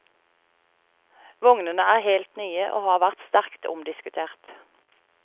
Vognene er helt nye, og har vært sterkt omdiskutert.